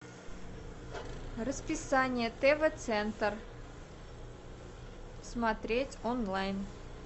расписание тв центр смотреть онлайн